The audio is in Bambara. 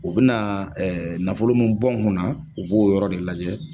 U bina nafolo mun bɔ n kunna, u b'o yɔrɔ de lajɛ